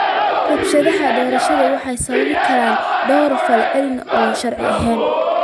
Rabshadaha doorashada waxaa sababi kara dhowr fal oo aan sharci ahayn.